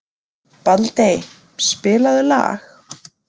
Baldey, spilaðu lag.